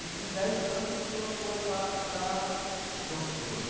E com dez anos o senhor foi pa para... Campos do Jordão.